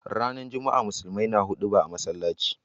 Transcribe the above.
Ranar juma'a musulmai na huduba a masallaci.